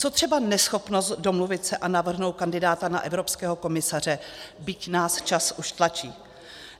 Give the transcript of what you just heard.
Co třeba neschopnost domluvit se a navrhnout kandidáta na evropského komisaře, byť nás čas už tlačí?